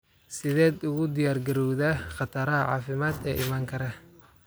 Sideed ugu diyaargarowdaa khataraha caafimaad ee iman kara?